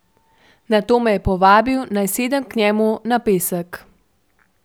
Nato me je povabil, naj sedem k njemu na pesek.